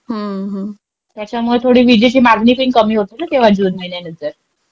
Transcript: त्याच्यामुळे थोडी विजेची मागणी पण कमी होते ना तेव्हा जून महिन्यानंतर.